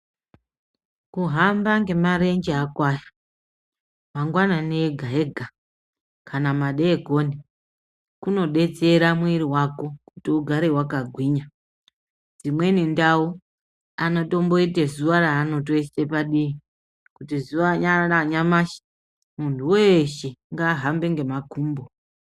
Kuhamba ngemarenje ako aya mangwanani ega ega kana madekoni kunodetsera mwiri wako kuti ugare wakagwinya imweni ndau anotimboite zuwa ravanoisa padivi kuti zuwa ranyamashi munhu weshe ngahambe ngemakumbo